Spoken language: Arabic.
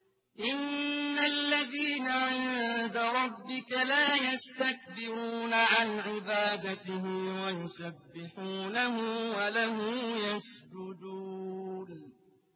إِنَّ الَّذِينَ عِندَ رَبِّكَ لَا يَسْتَكْبِرُونَ عَنْ عِبَادَتِهِ وَيُسَبِّحُونَهُ وَلَهُ يَسْجُدُونَ ۩